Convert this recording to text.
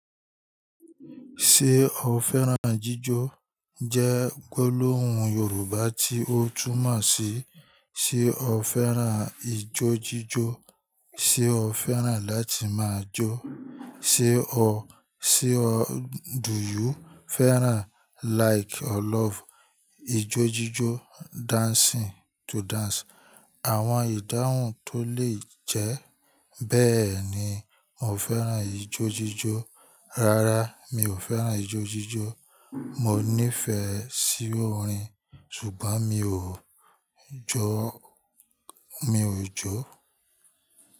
Ṣé o fẹ́ràn jíjọ jẹ́ gbólóhùn Yorùbá tí ó túmọ̀ sí: ṣe o fẹ́ràn ijójíjó, ṣe o fẹ́ràn láti máa jó, ṣe o, ṣe o, do you fẹ́ràn, like or love ijójíjó, dancing to dance. Àwọn ìdáhùn tó lè jẹ́ bẹ́ẹ̀ ni: Mo fẹ́ràn ijójíjó. Rárá, mi ò fẹ́ràn ijójíjó. Mo níífe sí orin, ṣùgbọ́n mi ò jó, mi ò jó.